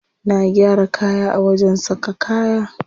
Na gyara kaya a wajen saka kaya.